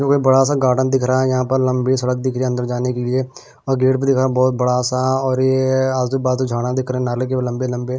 बड़ा सा गार्डन दिख रहा है यहां पर लंबी सड़क दिख रही है अंदर जाने के लिए और गेट भी दिखा रहा बहुत बड़ा सा और ये आज झाड़ दिख रहे हैं नारल के लंबे-लंबे।